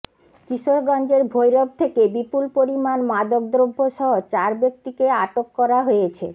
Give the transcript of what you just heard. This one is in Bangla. কিশোরগঞ্জের ভৈরব থেকে বিপুল পরিমাণ মাদক দ্রব্যসহ চার ব্যক্তিকে আটক করা হয়েছে